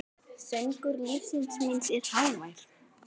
Söngur lífs míns er hávær.